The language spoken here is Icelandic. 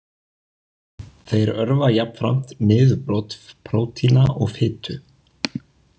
Þeir örva jafnframt niðurbrot prótína og fitu.